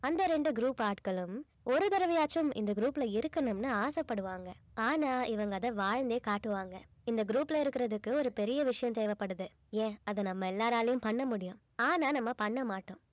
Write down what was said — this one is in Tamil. அந்த ரெண்டு group ஆட்களும் ஒரு தடவையாச்சும் இந்த group ல இருக்கணும்ன்னு ஆசைப்படுவாங்க ஆனா இவங்க அதை வாழ்ந்தே காட்டுவாங்க இந்த group ல இருக்கிறதுக்கு ஒரு பெரிய விஷயம் தேவைப்படுது ஏன் அத நம்ம எல்லாராலயும் பண்ண முடியும் ஆனா நம்ம பண்ண மாட்டோம்